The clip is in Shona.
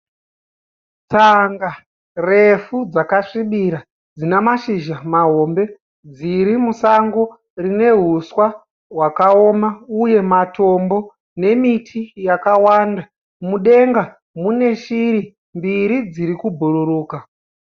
Tsanga refu dzakasvibira dzinamashizha mahombe dzirimusango rinehuswa hwakaoma uye matombo nemiti, mudenga muneshiri mbiri dzirikubhururuka.